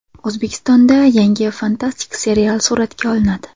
O‘zbekistonda yangi fantastik serial suratga olinadi.